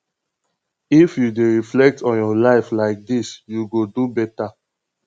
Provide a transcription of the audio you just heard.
if you dey reflect on your life like dis you go do beta